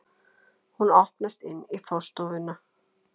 Hún opnast inn í forstofuna.